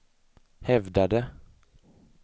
hävdade